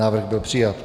Návrh byl přijat.